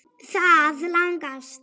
Það lagast.